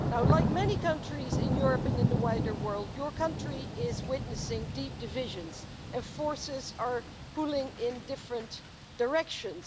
Like many countries in Europe and in the wider world, your country is witnessing deep divisions, and forces are pulling it in different directions.